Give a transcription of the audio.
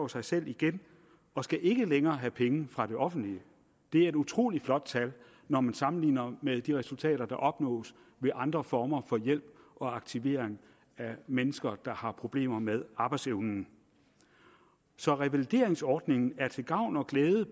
sig selv igen og skal ikke længere have penge fra det offentlige det er et utrolig flot tal når man sammenligner med de resultater der opnås ved andre former for hjælp og aktivering af mennesker der har problemer med arbejdsevnen så revalideringsordningen er både til gavn og glæde